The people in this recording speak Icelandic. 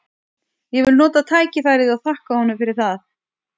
Ég vil nota tækifærið og þakka honum fyrir það.